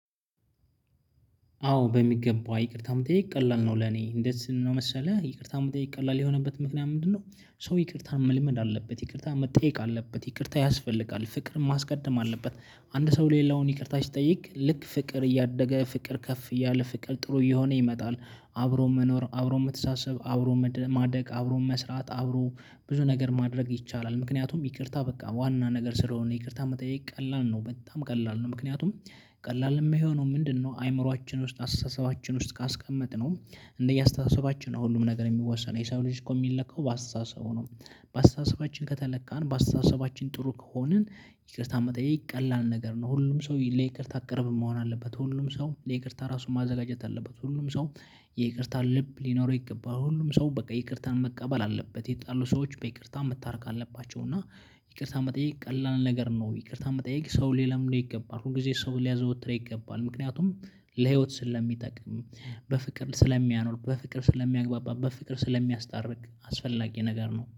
አዎ። በሚገባ ይቅርታ መጠየቅ ቀላል ነው። ለኔ እንዴት ነው መሰለህ ይቅርታ መጠየቅ ቀላል የሆነበት ምክንያት ምንድነው? ሰው ይቅርታን መልመድ አለበት ይቅርታ መጠየቅ አለበት ይቅርታ ያስፈልጋል ፍቅር ማስቀደም አለበት። አንድ ሰው ሌላውን ይቅርታ ሲጠይቅ ልክ ፍቅር እያደገ ፍቅር ከፍ እያለ ፍቅር ጥሩ እየሆነ ይመጣል። አብሮ መኖር አብሮ መተሳሰብ አብሮ ማደግ አብሮ መስራት አብሮ ብዙ ነገር ማድረግ ይቻላል። ምክንያቱም ይቅርታ በቃ ዋና ነገር ስለሆነ ይቅርታ መጠየቅ ቀላል ነው በጣም ቀላል ነው። ምክንያቱም ቀላል የሚሆነው ምንድነው? አይምሮአችን ውስጥ አስተሳሰባችን ውስጥ ካስቀመጥነው እንደየአስተሳሰባችን ነው ሁሉም ነገር የሚወሰነው የሰው ልጅ እኮ የሚለካው በአስተሳሰቡ ነው። በአስተሳሰባችን ከተለካን በአስተሳሰባችን ጥሩ ከሆንን ይቅርታ መጠየቅ ይቀላል ነገር ነው። ሁሉም ሰው ለይቅርታ አቅርብ መሆን አለበት ሁሉም ሰው የይቅርታ ራሱን ማዘጋጀት አለበት። ሁሉም ሰው የይቅርታ ልብ ሊኖረው ይገባል። ሁሉም ሰው በቃ ይቅርታን መቀበል አለበት። የተጣሉ ሰዎች በይቅርታ መታረቅ አለባቸው። እና ይቅርታ መጠየቅ ቀላል ነገር ነው። ይቅርታ መጠየቅ ሰው ሊለምደው ይገባል ሁል ጊዜ ሰው ሊያዘወትረው ይገባል። ምክንያቱም ለህይወት ስለሚጠቅም። በፍቅር ስለሚያኖር በፍቅር ስለሚያግባባ ፍቅር ስለሚያስታርቅ አስፈላጊ ነገር ነው